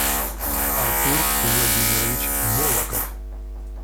артур владимирович болоков